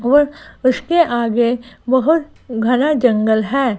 और उसके आगे बहुत घना जंगल है।